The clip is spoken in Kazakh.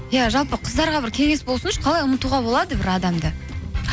иә жалпы қыздарға бір кеңес болсыншы қалай ұмытуға болады бір адамды